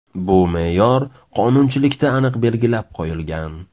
Bu me’yor qonunchilikda aniq belgilab qo‘yilgan.